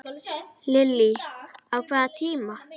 Lillý: Á hvaða tíma?